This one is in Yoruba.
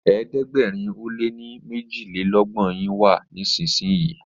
ẹ̀ẹ́dẹ̀gbẹ̀rin o lẹ ní mejilelogbon yin wá nísìsiyìí!